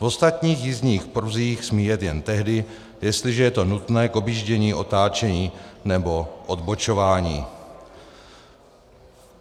V ostatních jízdních pruzích smí jet jen tehdy, jestliže je to nutné k objíždění, otáčení nebo odbočování."